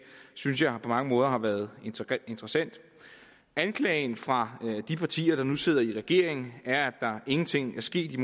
synes jeg på mange måder har været interessant anklagen fra de partier der nu sidder i regering er at der ingenting er sket i